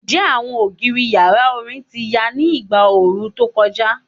Njẹ awọn ogiri yara orin ti ya ni igba ooru to kọja?